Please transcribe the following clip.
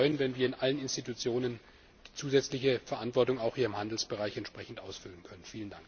Ich würde mich freuen, wenn wir in allen Institutionen die zusätzliche Verantwortung, auch hier im Handelsbereich, entsprechend ausfüllen würden.